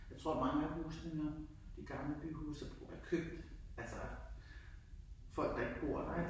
Jeg tror at mange af husene nu, de gamle byhuse, er er købt altså folk der ikke bor der ik